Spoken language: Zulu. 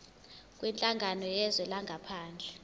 kwinhlangano yezwe langaphandle